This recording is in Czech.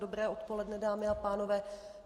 Dobré odpoledne, dámy a pánové.